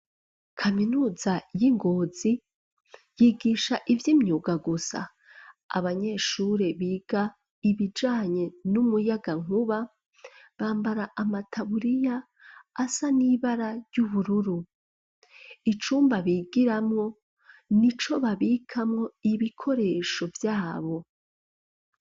Kaminuza yi Ngozi yigisha ivy'imyuga gusa, abanyeshure biga ibijanye n'umuyagankuba bambara amataburiya asa n'ibara ry'ubururu, icumba bigiramo nico babikamo ibikoresho vyabo.